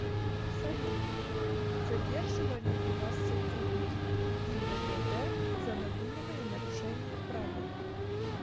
салют задерживали ли вас сотрудники гибдд за надуманное нарушение правил